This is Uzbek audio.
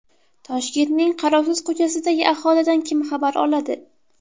Toshkentning qarovsiz ko‘chasidagi aholidan kim xabar oladi?.